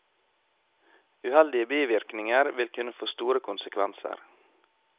Uheldige bivirkninger vil kunne få store konsekvenser.